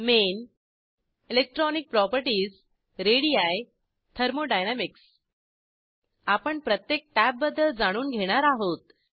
main electronic properties ready thermodynamics आपण प्रत्येक टॅबबद्दल जाणून घेणार आहोत